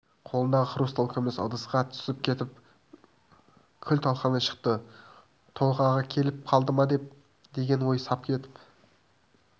қолындағы хрусталь күміс ыдысқа түсіп кетіп күл-талқаны шықты толғағы келіп қалды ма деген ой сап етіп